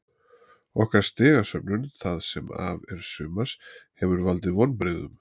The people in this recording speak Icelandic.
Okkar stigasöfnun það sem af er sumars hefur valdið vonbrigðum.